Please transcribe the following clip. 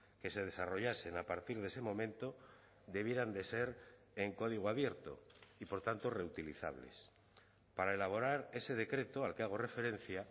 que se desarrollasen a partir de ese momento debieran de ser en código abierto y por tanto reutilizables para elaborar ese decreto al que hago referencia